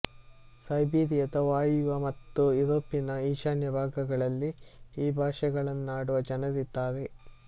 ಸೈಬೀರಿಯದ ವಾಯುವ್ಯ ಮತ್ತು ಯುರೋಪಿನ ಈಶಾನ್ಯ ಭಾಗಗಳಲ್ಲಿ ಈ ಭಾಷೆಗಳನ್ನಾಡುವ ಜನರಿದ್ದಾರೆ